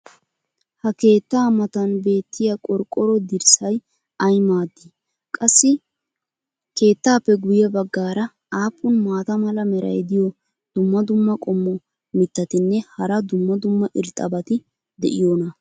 ha keettaa matan beetiya qorqqoro dirssay ay maadii? qassi keettaappe guye bagaara aappun maata mala meray diyo dumma dumma qommo mitattinne hara dumma dumma irxxabati de'iyoonaa?